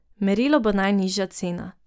Merilo bo najnižja cena.